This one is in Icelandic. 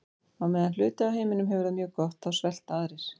Á meðan hluti af heiminum hefur það mjög gott þá svelta aðrir.